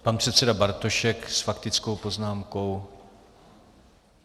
Pan předseda Bartošek s faktickou poznámkou.